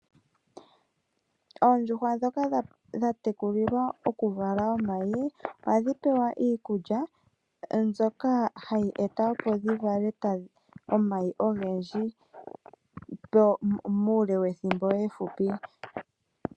Oondjuhwa ndhoka dha tekulilwa okuvala omayi, ohadhi pewa iikulya, mbyoka hayi eta opo dhivale omayi ogendji muule wethimbo efupi.